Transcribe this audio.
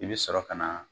I bɛ sɔrɔ ka na